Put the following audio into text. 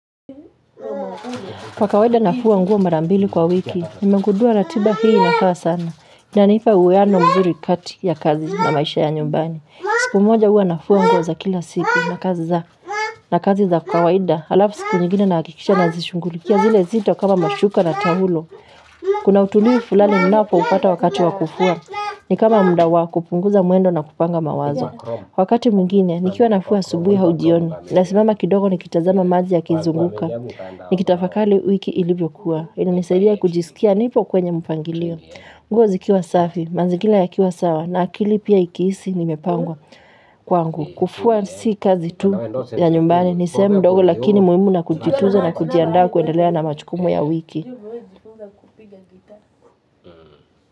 Kwa kawaida nafua nguo mara mbili kwa wiki, ni mengudua ratiba hii inafaa sana inanipa uwiano mzuri kati ya kazi na maisha ya nyumbani. Siku moja huwa nafua nguo za kila siku na kazi za, na kazi za kawaida, alafu siku ingine nahakikisha nazishungulikia, zile zito kama mashuka na taulo. Kuna utulivu fulani ninaoupata wakati wa kufua, ni kama muda wa kupunguza mwendo na kupanga mawazo. Wakati mwingine, nikiwa nafua asubuhi au jioni, nasimama kidogo ni kitazama maji yakizunguka, ni kutafakari wiki iliyo kuwa, ni nisaidi ya kujiskia ya nipo kwenye mpangilio, nguo zikiwa safi, mazingira yakiwa saww, na alkili pia ikisi ni mepangwa kwa angu, kufua si kazi tu ya nyumbani, ni sehemu ndogo, lakini muhimu na kujutuzza na kujia nda kuendelea na majukumu ya wiki.